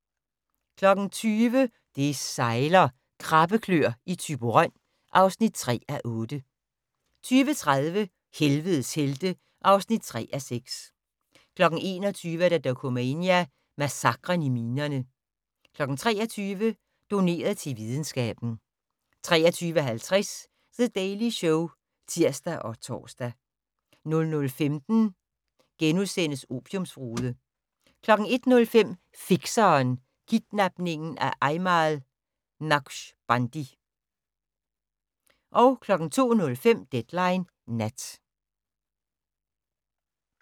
20:00: Det sejler - Krabbeklør i Thyborøn (3:8) 20:30: Helvedes helte (3:6) 21:00: Dokumania: Massakren i minerne 23:00: Doneret til videnskaben 23:50: The Daily Show (tir og tor) 00:15: Opiumbrude * 01:05: Fikseren: Kidnapningen af Ajmal Naqshbandi 02:05: Deadline Nat